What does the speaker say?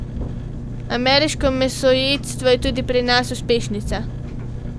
Ameriško mesojedstvo je tudi pri nas uspešnica!